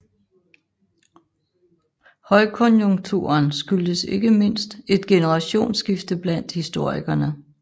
Højkonjunkturen skyldtes ikke mindst et generationsskifte blandt historikerne